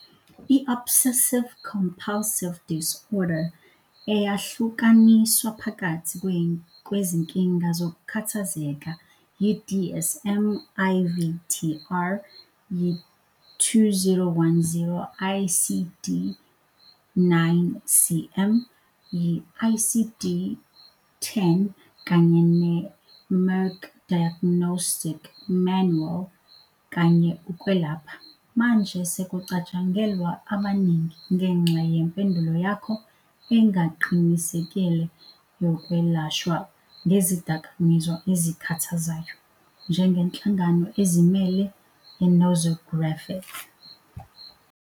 I-Obsessive-compulsive disorder - eyahlukaniswa phakathi kwezinkinga zokukhathazeka yi- DSM-IV-TR, yi-2010 ICD-9-CM, yi- ICD-10 kanye ne- "Merck Diagnostic Manual kanye Ukwelapha" - manje sekucatshangelwa abaningi, ngenxa yempendulo yakho engaqinisekile yokwelashwa ngezidakamizwa ezikhathazayo, njengenhlangano ezimele ye-nosographic.